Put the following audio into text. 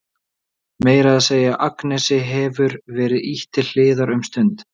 Meira að segja Agnesi hefur verið ýtt til hliðar um stund.